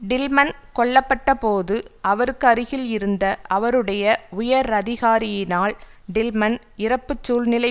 Tillman கொல்ல பட்ட போது அவருக்கு அருகில் இருந்த அவருடைய உயரதிகாரியினால் டில்மன் இறப்பு சூழ்நிலை